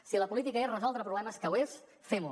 si la política és resoldre problemes que ho és fem ho